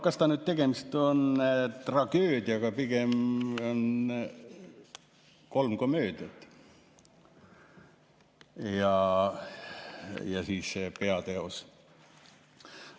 Kas ta nüüd just tragöödia on, või on pigem kolm komöödiat ja siis see peateos.